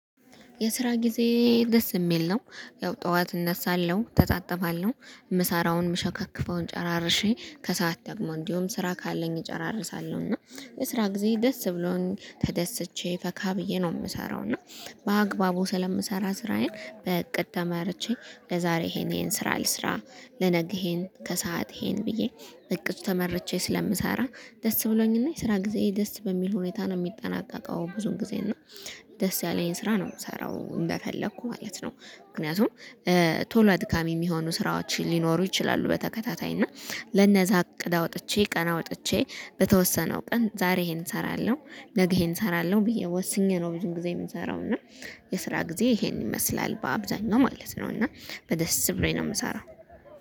የስራ ጊዜ ደስ የሚል ነው ያው ጠዋት እነሳለሁ እተጣጥባለሁ ምሳራውን ምሸከክፈውን ጨራርሼ ከሰአት ደግሞ እንዲሁም ስራ ካለኝ እጨራርሳለሁ እና የስራ ጊዜ ደስ ብሎኝ ተደስቼ ፈካ ብዬ ነው የምሰራው። እና በአግባቡ ስለምሰራ ስራዬን በእቅድ ተመርቼ ለዛሬ ይሄን ይሄን ስራ ልስራ ለነገ ይሄን ከሰአት ይሄን ብዬ በእቅድ ተመርቼ ስለምሰራ ደስ ብሎኝና የስራ ጊዜ ደስ በሚል ሁኔታ ነው የሚጠናቀቀው። ብዙም ጊዜ እና ደስ ያለኝ ስራ ነው የምሰራው እንደፈለኩ ማለት ነው። ምክንያቱም ቶሎ አድካሚ የሚሆኑ ስራዎችን ሊኖሩ ይችላሉ። በተከታታይ እና ለነዛ እቅድ አውጥቼ ቀን አውጥቼ በተወሰነው ቀን ዛሬ ይሄን እሰራለሁ ነገ ይሄን እሰራለሁ ብዬ ወስኜ ነው ብዙም ጊዜ የምሰራው። እና የስራ ጊዜ ይሄን ይመስላል በአብዛኛው ማለት ነው። እና በደስ ብሎኝ ነው የምሰራው